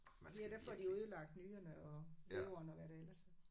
Her der får de jo ødelagt nyrerne og leveren og hvad der ellers er